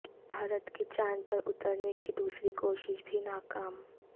بھارت کی چاند پر اترنے کی دوسری کوشش بھی ناکام